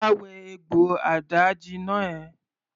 Wá wẹ egbò àdáàjina ẹ!